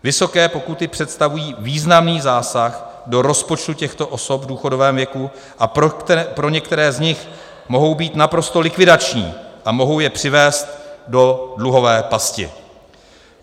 Vysoké pokuty představují významný zásah do rozpočtu těchto osob v důchodovém věku a pro některé z nich mohou být naprosto likvidační a mohou je přivést do dluhové pasti.